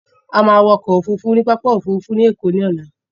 A máa wọ ọkọ òfurufú ní pápá òfurufú ẹ̀kọ́ lọ́la.